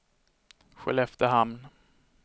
Skelleftehamn